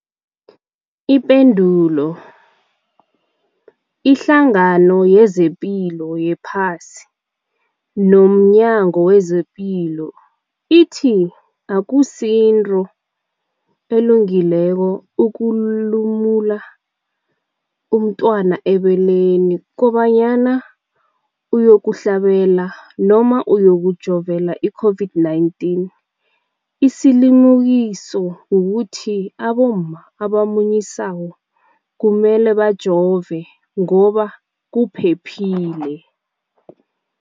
Ipendulo, iHlangano yezePilo yePhasi nomNyango wezePilo ithi akusinto elungileko ukulumula umntwana ebeleni kobanyana uyokuhlabela, uyokujovela i-COVID-19. Isilimukiso kukuthi abomma abamunyisako kumele bajove ngoba kuphephile.